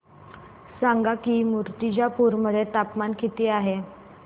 सांगा की मुर्तिजापूर मध्ये तापमान किती आहे